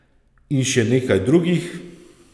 In še nekaj drugih.